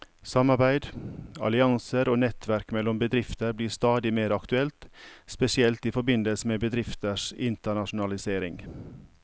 Samarbeid, allianser og nettverk mellom bedrifter blir stadig mer aktuelt, spesielt i forbindelse med bedrifters internasjonalisering.